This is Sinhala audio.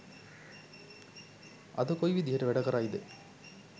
අද කොයි විදිහට වැඩ කරයිද